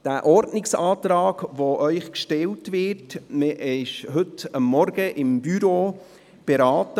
Der Ordnungsantrag, der Ihnen gestellt wird, wurde heute Morgen vom Büro beraten.